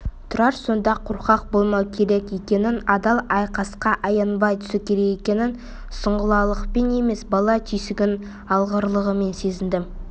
тұрар сонда қорқақ болмау керек екенін адал айқасқа аянбай түсу керек екенін сұңғылалықпен емес бала түйсігінің алғырлығымен сезінді